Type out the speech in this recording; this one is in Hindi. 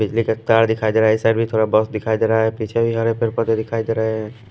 बिजली का तार दिखाई दे रहा है इस साइड भी थोड़ा बस दिखाई दे रहा है पीछे भी हरे पर पदे दिखाई दे रहे हैं।